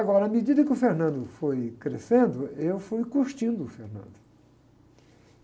Agora, à medida que o foi crescendo, eu fui curtindo o.